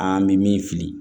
An bɛ min fili